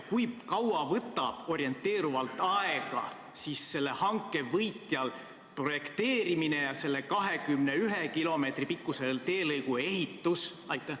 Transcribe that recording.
Kui kaua võtab orienteeruvalt aega selle hanke võitjal projekteerimine ja selle 21 kilomeetri pikkuse teelõigu ehitus?